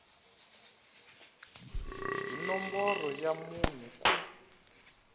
hi nomboro ya munhu ku